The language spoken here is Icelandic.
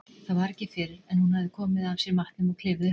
Það var ekki fyrr en hún hafði komið af sér matnum og klifið upp á